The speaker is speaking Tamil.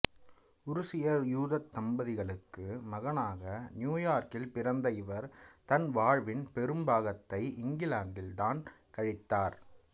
உருசிய யூதத் தம்பதிகளுக்கு மகனாக நியூயார்க்கில் பிறந்த இவர் தன் வாழ்வின் பெரும் பாகத்தை இங்கிலாந்தில் தான் கழித்தார்